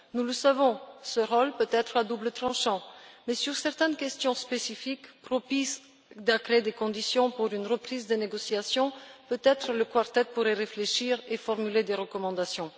Nous le savons, ce rôle peut être à double tranchant, mais sur certaines questions spécifiques, propices à créer des conditions pour une reprise des négociations, le Quartet pourrait peut être réfléchir et formuler des recommandations.